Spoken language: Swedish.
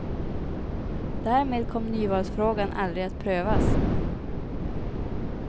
Därmed kom nyvalsfrågan aldrig att prövas.